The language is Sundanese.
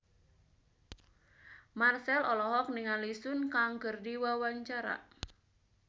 Marchell olohok ningali Sun Kang keur diwawancara